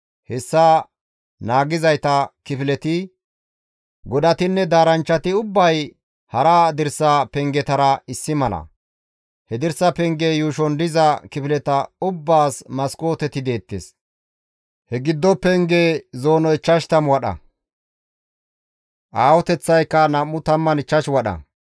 Hessas naagizayta kifileti, godatinne daaranchchati ubbay hara dirsa pengetara issi mala. He dirsa penge yuushon diza kifileta ubbaas maskooteti deettes. Ha giddo penge zoonoy 50 wadha; aahoteththaykka 25 wadha.